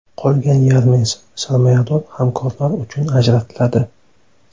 Qolgan yarmi esa sarmoyador hamkorlar uchun ajratiladi.